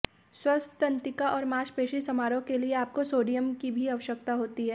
स्वस्थ तंत्रिका और मांसपेशी समारोह के लिए आपको सोडियम की भी आवश्यकता होती है